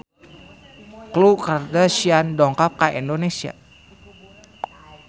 Khloe Kardashian dongkap ka Indonesia